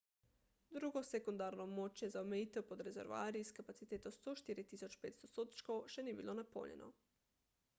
drugo sekundarno območje za omejitev pod rezervoarji s kapaciteto 104.500 sodčkov še ni bilo napolnjeno